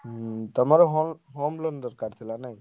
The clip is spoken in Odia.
ହୁଁ ତମର home, home loan ଦରକାର ଥିଲା ନାଇ?